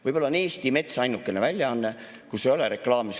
Võib-olla Eesti Mets on ainukene väljaanne, kus ei ole reklaami.